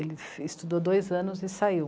Ele estudou dois anos e saiu.